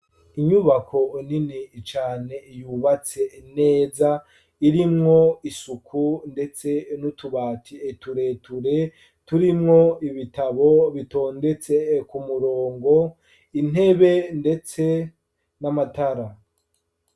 Inyubako nini cane yubatse neza irimwo isuku ndetse tureture turimwo ibitabo bitondetse ku murongo intebe ndetse n'amatara.